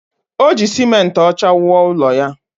O ji simenti ọcha wuo ụlọ ya